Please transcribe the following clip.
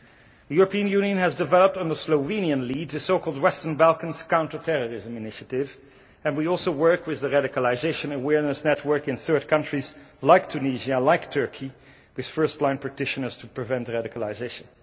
The European Union has developed on the Slovenian lead a so called Western Balkans Counterterrorism Initiative and we also work with the Radicalisation Awareness Network in third countries like Tunisia, like Turkey, with first line practitioners to prevent radicalisation.